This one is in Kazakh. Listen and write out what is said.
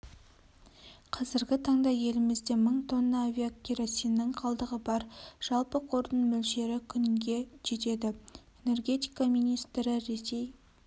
қазіргі таңда елімізде мың тонна авиакеросиннің қалдығы бар жалпы қордың мөлшері күнге жетеді энергетика министрі ресей